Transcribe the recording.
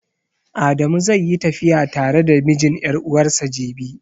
Adamu zai yi tafiya tare da mijin ƴar'uwarsa jibi.